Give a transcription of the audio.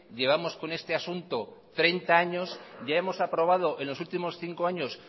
llevamos con este asunto treinta años ya hemos aprobado en los últimos cinco años